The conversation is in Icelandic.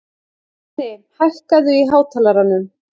Árni, hækkaðu í hátalaranum.